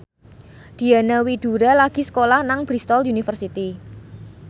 Diana Widoera lagi sekolah nang Bristol university